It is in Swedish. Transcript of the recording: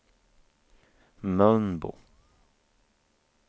Mölnbo